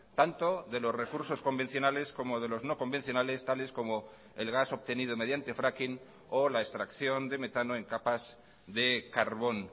tanto de los recursos convencionales como de los no convencionales tales como el gas obtenido mediante fracking o la extracción de metano en capas de carbón